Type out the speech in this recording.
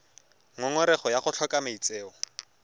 ngongorego ya go tlhoka maitseo